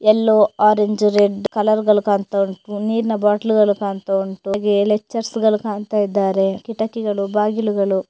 ಎಲ್ಲೋ orange red colour ಗಳು ಕಾಣ್ತಾವುಂಟು ನೀರಿನ ಬಾಟ್ಲು ಗಳು ಕಾಣ್ತಾವುಂಟು ಹಾಗೆ ಲೆಕ್ಚರ್ಸ್ ಗಳು ಕಾಣ್ತಾಇದ್ದಾರೆ ಕಿಟಕಿಗಳು ಬಾಗಿಲುಗಳು --